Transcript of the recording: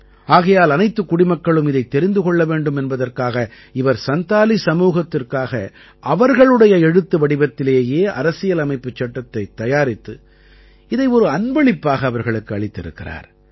ஆகையால் அனைத்துக் குடிமக்களும் இதைத் தெரிந்து கொள்ள வேண்டும் என்பதற்காக இவர் சந்தாலி சமூகத்திற்காக அவர்களுடைய எழுத்து வடிவத்திலேயே அரசியலமைப்புச் சட்டத்தைத் தயாரித்து இதை ஒரு அன்பளிப்பாக அவர்களுக்கு அளித்திருக்கிறார்